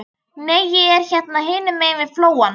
Nei, ég er hérna hinum megin við flóann.